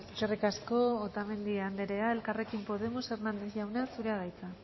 eskerrik asko eskerrik asko otamendi andrea elkarrekin podemos hernández jauna zurea da hitza